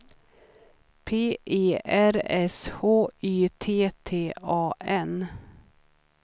P E R S H Y T T A N